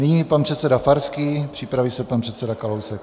Nyní pan předseda Farský, připraví se pan předseda Kalousek.